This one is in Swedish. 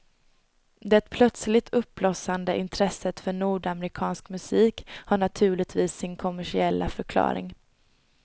Det plötsligt uppblossande intresset för nordamerikansk musik har naturligtvis sin kommersiella förklaring.